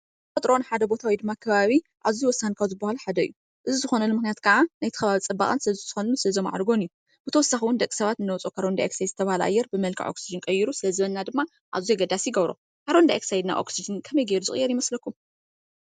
ተፈጥሮ ንሓደ ቦታ ወይ ድማ ከባቢ አዝዩ ወሳኒ ካብ ዝበሃሉ ሓደ እዩ ። እዙይ ዝኮነሉ ምክንያት ከዓ ናይቲ ከባቢን ፅባቐን ስለ ዝውስከሉን ዘማዕርጎን እዩ። ብተወሳኪ እውን ደቂ ሰባት እንውፅኦ ካርቦን ዳይ ኦክሳይድ ዝተብሃለ አየር ብ መልክዕ ኦክስጅን ቀይሩ ስለ ዝህበና ድማ አዝዩ አገዳሲ ይገብሮ። ካርቦን ዳይ ኦክሳይድ ናብ ኦክስጅን ከመይ ገይሩ ዝቅየር ይመስለኩም?